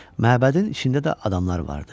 Məbədin içində də adamlar vardı.